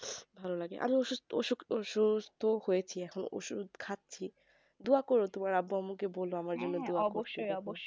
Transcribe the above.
ভালো লাগে মানে অসুস্থ হয়েছে এখন ঔষধ তো খাচ্ছি তো দোয়া করো তোমার আব্বা আম্মুকে বলো